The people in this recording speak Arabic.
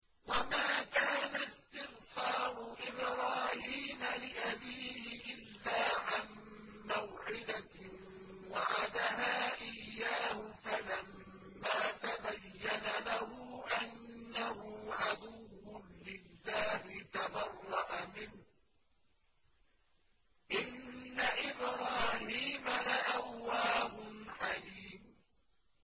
وَمَا كَانَ اسْتِغْفَارُ إِبْرَاهِيمَ لِأَبِيهِ إِلَّا عَن مَّوْعِدَةٍ وَعَدَهَا إِيَّاهُ فَلَمَّا تَبَيَّنَ لَهُ أَنَّهُ عَدُوٌّ لِّلَّهِ تَبَرَّأَ مِنْهُ ۚ إِنَّ إِبْرَاهِيمَ لَأَوَّاهٌ حَلِيمٌ